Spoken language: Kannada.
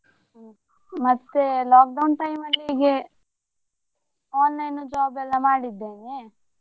ಹ್ಮ್ ಮತ್ತೇ lockdown time ಅಲ್ಲಿ ಹೀಗೆ online job ಎಲ್ಲಾ ಮಾಡಿದ್ದೇನೆ.